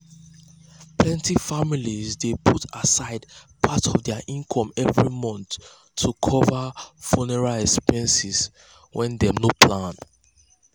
plenty families dey put um aside part um of dir income every month to cover funeral expenses wen dem um no plan.